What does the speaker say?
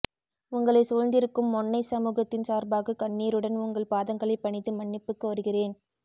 உங்களைச் சூழ்ந்திருக்கும் மொண்ணைச்சமூகத்தின் சார்பாகக் கண்ணீருடன் உங்கள் பாதங்களைப் பணிந்து மன்னிப்புக் கோருகிறேன்